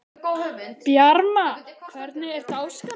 Bjarma, hvernig er dagskráin?